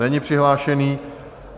Není přihlášený.